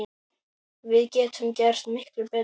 Við getum gert miklu betur!